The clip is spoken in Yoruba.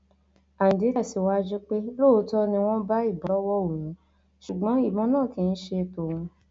ayíǹde tẹsíwájú pé lóòótọ ni wọn bá ìbọn lọwọ òun ṣùgbọn ìbọn náà kì í ṣe tòun